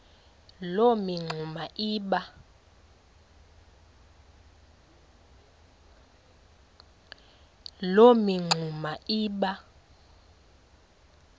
loo mingxuma iba